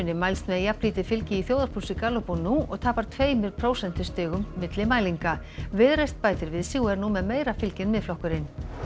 mælst með jafnlítið fylgi í þjóðarpúlsi Gallup og nú og tapar tveimur prósentustigum milli mælinga viðreisn bætir við sig og er nú með meira fylgi en Miðflokkurinn